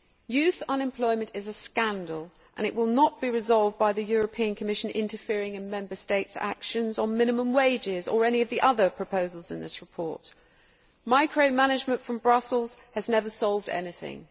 Youth unemployment is a scandal and it will not be resolved by the Commission interfering in Member States' actions on minimum wages or by any of the other proposals in this report. Micro management from Brussels has never solved anything.